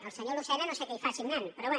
el senyor luce na no sé què hi fa signant però bé